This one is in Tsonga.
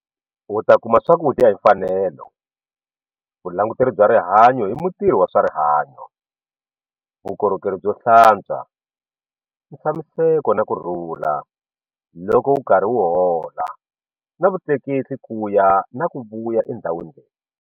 U ta kuma swakudya hi mfanelo, vulanguteri bya rihanyo hi mutirhi wa swa rihanyo, vukorhokeri byo hlantswa, ntshamiseko na kurhula loko u karhi u hola na vutleketli ku ya na ku vuya endhawini leyi.